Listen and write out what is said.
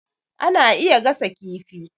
Ana iya gasa kifi